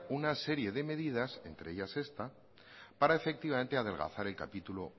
una serie de medidas entre ellas esta para efectivamente adelgazar el capítulo